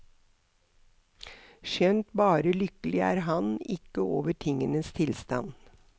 Skjønt bare lykkelig er han ikke over tingenes tilstand.